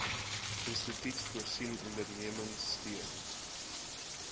instituut voorsien ondernemerskapsteun